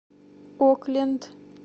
окленд